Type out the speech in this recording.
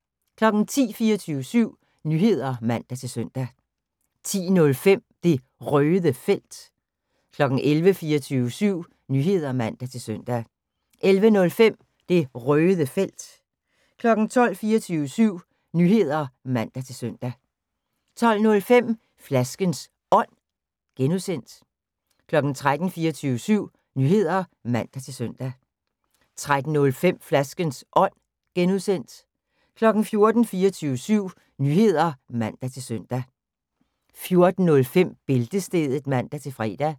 10:00: 24syv Nyheder (man-søn) 10:05: Det Røde Felt 11:00: 24syv Nyheder (man-søn) 11:05: Det Røde Felt 12:00: 24syv Nyheder (man-søn) 12:05: Flaskens Ånd (G) 13:00: 24syv Nyheder (man-søn) 13:05: Flaskens Ånd (G) 14:00: 24syv Nyheder (man-søn) 14:05: Bæltestedet (man-fre)